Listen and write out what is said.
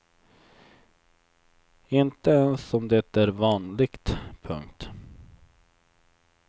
Inte ens om det är vanligt. punkt